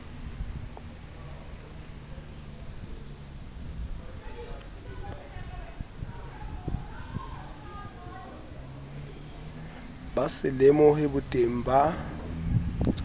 ba se lemohe boteng ba